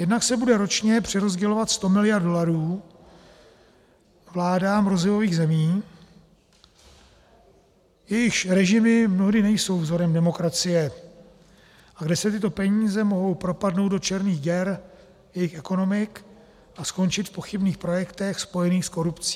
Jednak se bude ročně přerozdělovat sto miliard dolarů vládám rozvojových zemí, jejichž režimy mnohdy nejsou vzorem demokracie a kde se tyto peníze mohou propadnout do černých děr jejich ekonomik a skončit v pochybných projektech spojených s korupcí.